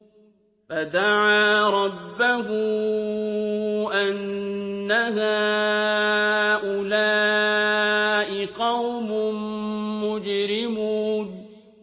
فَدَعَا رَبَّهُ أَنَّ هَٰؤُلَاءِ قَوْمٌ مُّجْرِمُونَ